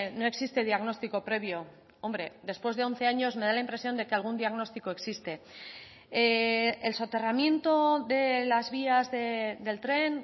no existe diagnóstico previo hombre después de once años me da la impresión de que algún diagnóstico existe el soterramiento de las vías del tren